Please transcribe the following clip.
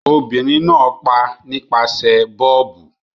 Obìnrin náà pa nípasẹ̀ bọ́ọ̀bù.